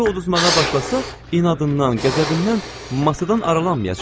Əgər o udmağa başlasa, inadından, qəzəbindən masadan aralanmayacaq.